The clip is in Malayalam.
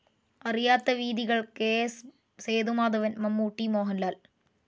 അറിയാത്ത വീഥികൾ കെ.എസ്. സേതുമാധവൻ മമ്മൂട്ടി, മോഹൻലാൽ